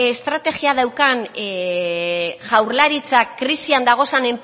estrategia daukan jaurlaritzak krisiak dagozan